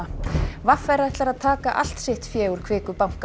v r ætlar að taka allt sitt fé úr Kviku banka